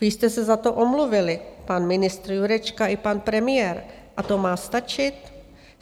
Vy jste se za to omluvili, pan ministr Jurečka i pan premiér - a to má stačit?